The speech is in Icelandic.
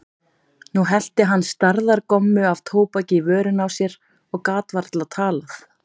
Nú hellti hann stærðar gommu af tóbaki í vörina á sér og gat varla talað.